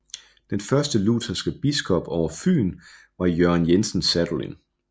Den første lutherske biskop over Fyn var Jørgen Jensen Sadolin